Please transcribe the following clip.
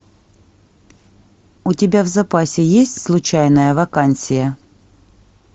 у тебя в запасе есть случайная вакансия